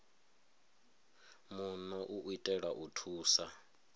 muno u itela u thusa